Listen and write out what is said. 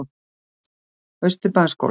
Austurbæjarskóla